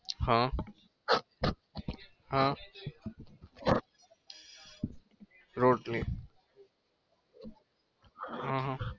હ હ રોટલી